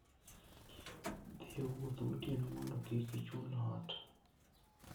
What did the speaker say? Dhi e wuoth gotieno mondo kik ichul ot.